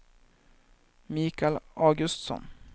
Mikael Augustsson